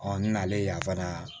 n nalen yan fana